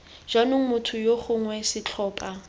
jaanong motho yo gongwe setlhopha